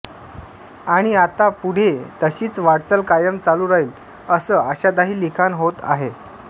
आणि आता पुढे तशीच वाटचाल कायम चालू राहील असं आशादायी लिखाण होत आहे